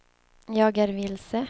jag är vilse